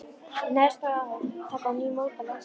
Neðst: ár taka á ný að móta landslagið.